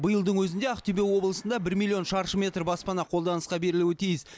биылдың өзінде ақтөбе облысында бір миллион шаршы метр баспана қолданысқа берілуі тиіс